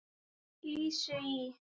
Lísu í